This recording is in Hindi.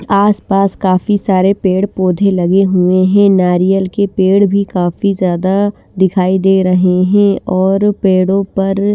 आस पास काफी सारे पेड़ पौधे लगे हुए है नारियल के पेड़ भी काफी ज्यादा दिखाई दे रहे है और पेडो पर--